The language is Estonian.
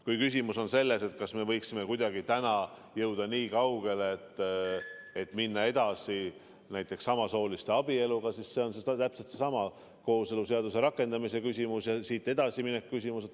Kui küsimus on selles, kas me võiksime kuidagi täna jõuda niikaugele, et minna edasi näiteks samasooliste abieluga, siis see on täpselt seesama kooseluseaduse rakendamise küsimus ja siit edasi mineku küsimus.